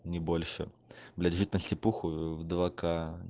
не больше блять жить на степуху в два к